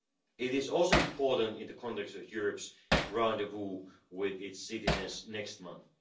It is also important in the context of Europe's rendezvous with its citizens next month.